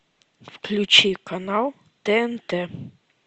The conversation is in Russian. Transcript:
включи канал тнт